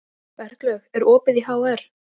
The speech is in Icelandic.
Berglaug, er opið í HR?